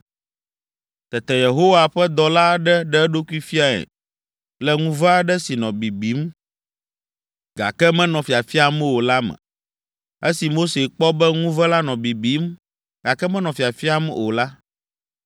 Tete Yehowa ƒe dɔla aɖe ɖe eɖokui fiae le ŋuve aɖe si nɔ bibim, gake menɔ fiafiam o la me. Esi Mose kpɔ be ŋuve la nɔ bibim, gake menɔ fiafiam o la,